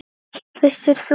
Vissir þú?